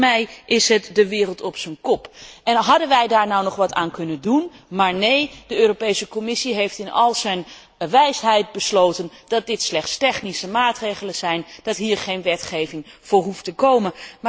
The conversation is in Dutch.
Volgens mij is het de wereld op zijn kop. En konden wij daar nog maar wat aan doen, maar nee de Europese Commissie heeft in al haar wijsheid besloten dat dit slechts technische maatregelen zijn, dat hier geen wetgeving voor hoeft te komen.